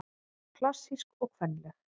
Klassísk og kvenleg